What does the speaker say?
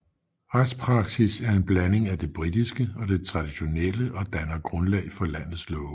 Retspraksis er en blanding af det britiske og det traditionelle og danner grundlag for landets love